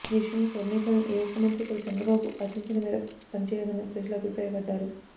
ఈ విషయంలో కేబినెట్ లోని ఏ ఒక్క మంత్రి కూడా చంద్రబాబు ఆశించిన మేర పనిచేయలేదని ప్రజలు అభిప్రాయపడ్డారు